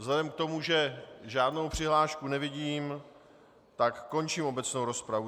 Vzhledem k tomu, že žádnou přihlášku nevidím, tak končím obecnou rozpravu.